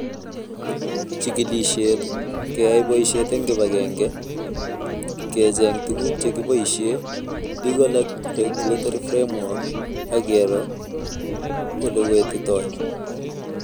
Jikilishet, keyai boisiet eng kibagenge ,kecheng' tuguk chekiboisie ,legal ak regulatory framework ak kero olewetitoi